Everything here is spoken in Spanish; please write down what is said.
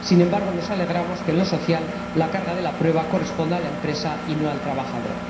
Sin embargo nos alegramos de que, en lo social, la carga de la prueba corresponda a la empresa y no al trabajador.